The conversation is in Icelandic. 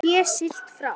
Sé siglt frá